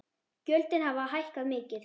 Gjöldin hafi hækkað mikið.